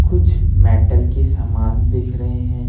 कुछ मेटल के समान दिख रहे हैं।